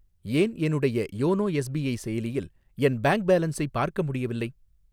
ஏன் என்னுடைய YONO SBI செயலியில் என் பேங்க் பேலன்ஸை பார்க்க முடியவில்லை?